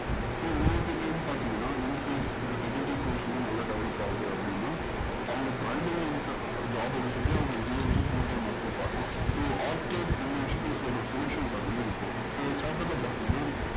incase இந்த secondary source வந்து நல்லா develop ஆகுது அப்டின்ன job விட்டுட்டு அவங்க இதையே வந்து full time ஆ கூட பாக்கலாம் so ஆச்வோர்ட் இந்த விஷயத்துல சொல்ற finishing part வந்து இதுதான் so இந்த chapter ல பாத்திங்கன்னா